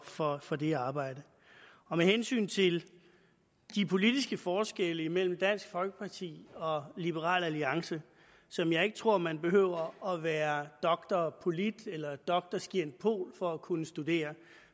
for for det arbejde med hensyn til de politiske forskelle imellem dansk folkeparti og liberal alliance som jeg ikke tror man behøver at være drpolit eller drscientpol for at kunne studere